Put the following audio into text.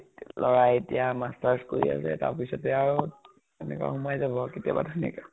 লʼৰা এতিয়া master's কৰি আছে, তাৰপিছতে আৰু এনেকে সোমাই যাব আৰু কেতিয়াবা ধুনিয়াকে ।